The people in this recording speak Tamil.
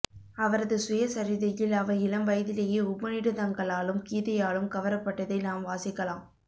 அவரது சுயசரிதையில் அவர் இளம்வயதிலேயே உபநிடதங்களாலும் கீதையாலும் கவரப்பட்டதை நாம் வாசிக்கலாம்